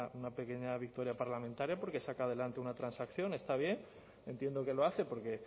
pues una pequeña victoria parlamentaria porque saca adelante una transacción está bien entiendo que lo hace porque